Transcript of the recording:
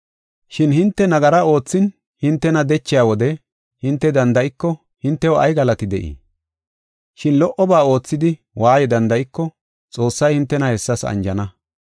Shin hinte nagara oothin hintena dechiya wode hinte danda7iko hintew ay galati de7ii? Shin lo77oba oothidi waaye danda7iko Xoossay hintena hessas anjana.